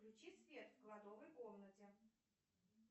включи свет в кладовой комнате